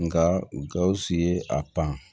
Nka gawusu ye a pan